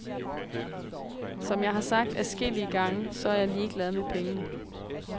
Som jeg har sagt adskillige gange, så er jeg ligeglad med pengene.